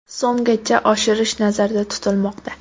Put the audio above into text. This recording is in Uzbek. so‘mgacha oshirish nazarda tutilmoqda.